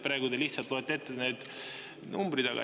Praegu te lihtsalt loete need numbrid ette.